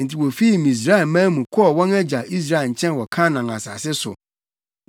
Enti wofii Misraimman mu kɔɔ wɔn agya Israel nkyɛn wɔ Kanaan asase so.